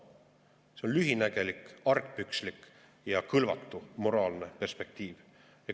See on lühinägelik, argpükslik ja kõlvatu moraalne perspektiiv.